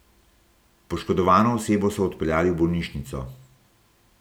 Poškodovano osebo so odpeljali v bolnišnico.